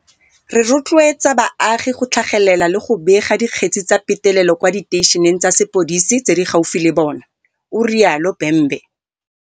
Re rotloetsa baagi go tlhagelela le go bega dikgetse tsa petelelo kwa diteišeneng tsa sepodise tse di gaufi le bona, o rialo Bhembe.